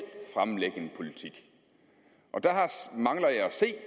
fremlægge en politik og der mangler jeg at se